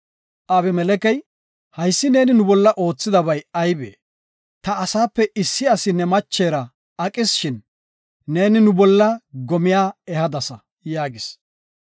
Abimelekey, “Haysi neeni nu bolla oothidabay aybee? Ta asaape issi asi ne machera aqis shin atis, neeni nu bolla gome ehadasa” yaagis.